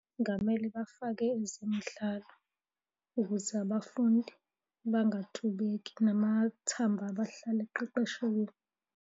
Kungamele bafake ezemidlalo ukuze abafundi bangatubeki namathambo abo ahlale eqeqeshekile.